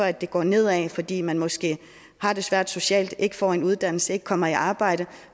at det går ned ad fordi man måske har det svært socialt ikke får en uddannelse og ikke kommer i arbejde